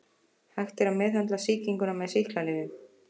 Hægt er að meðhöndla sýkinguna með sýklalyfjum.